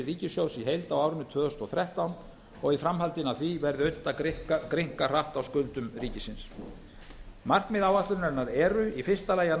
ríkissjóðs í heild á árinu tvö þúsund og þrettán og í framhaldinu af því verði unnt að grynnka hratt á skuldum ríkisins markmið áætlunarinnar eru í fyrsta lagi að